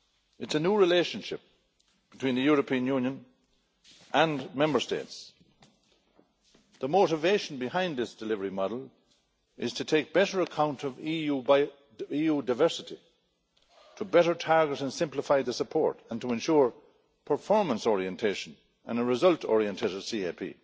It is a new relationship between the European Union and Member States. The motivation behind this delivery model is to take better account of EU diversity, to better target and simplify the support and to ensure performance orientation and a result oriented CAP.